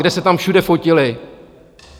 Kde se tam všude fotili.